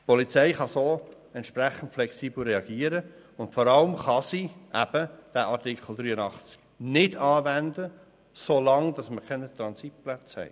So kann die Polizei entsprechend flexibel reagieren, und vor allem kann sie den Artikel 83 nicht anwenden, solange wir keine Transitplätze haben.